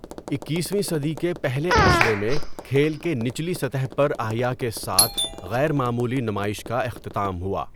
اکیسویں صدی کے پہلے عشرے میں کھیل کے نچلی سطح پر احیاء کے ساتھ غیرمعمولی نمائش کا اختتام ہوا۔